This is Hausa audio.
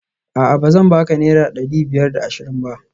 A'a bazan baka naira dari biyar da ashirin ba?